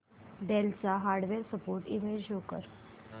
del चा hardware support email show कर